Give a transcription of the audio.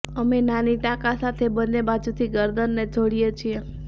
અમે નાની ટાંકા સાથે બંને બાજુથી ગરદનને જોડીએ છીએ